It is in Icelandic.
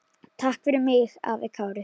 Takk fyrir mig, afi Kári.